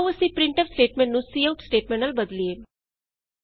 ਆਉ ਅਸੀਂ printf statement ਨੂੰ ਸੀਆਉਟ ਸਟੇਟਮੈਂਟ ਨਾਲ ਬਦਲੀਏ